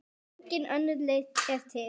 Engin önnur leið er til.